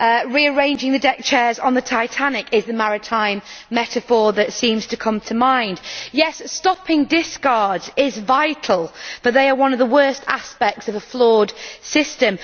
Rearranging the deckchairs on the Titanic is the maritime metaphor that seems to come to mind. Yes, stopping discards is vital, but they are one of the worst aspects of a flawed system.